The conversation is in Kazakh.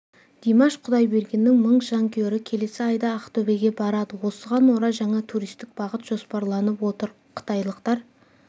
димаш құдайбергеннің мың жанкүйері келесі айда ақтөбеге барады осыған орай жаңа туристік бағыт жоспарланып отыр қытайлықтар